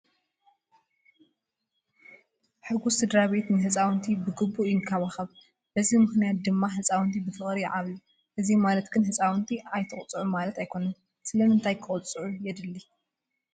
ሕጉስ ስድራቤት ንህፃውንቲ ብግቡእ ይንከባኸብ፡፡ በዚ ምኽንያት ድማ ህፃውንቲ ብፍቕሪ ይዓብዩ፡፡ እዚ ማለት ግን ህፃውንቲ ኣይትቅፅዑ ማለት ኣይኮነን፡፡ ስለምንታይ ክቅፅዑ የድሊ?